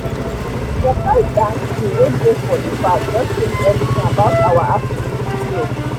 the surprise dance crew wey dey for the park just change everything about our afternoon stroll.